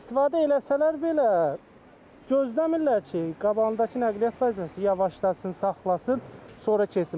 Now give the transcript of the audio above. İstifadə eləsələr belə gözləmirlər ki, qabağındakı nəqliyyat vasitəsi yavaşlasın, saxlasın, sonra keçsin.